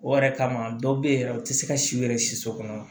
O yɛrɛ kama dɔw bɛ yen yɛrɛ u tɛ se ka siw yɛrɛ si so kɔnɔ